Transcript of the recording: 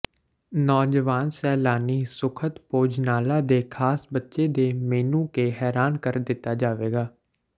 ਨੌਜਵਾਨ ਸੈਲਾਨੀ ਸੁਖਦ ਭੋਜਨਾਲਾ ਦੇ ਖਾਸ ਬੱਚੇ ਦੇ ਮੇਨੂ ਕੇ ਹੈਰਾਨ ਕਰ ਦਿੱਤਾ ਜਾਵੇਗਾ